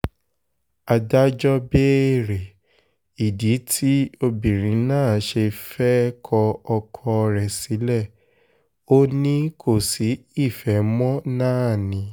adájọ́ béèrè ìdí tí obìnrin náà ṣe fẹ́ẹ́ kọ ọkọ rẹ̀ sílẹ̀ ò ní kò sí ìfẹ́ mọ́ náà ni